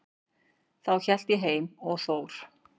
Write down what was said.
Þá hélt ég heim með Þór.